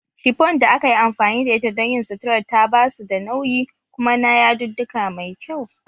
Shifon da aka yi amfani da ita don yin suturar ta ba su da nauyi kuma na yadudduka mai kyau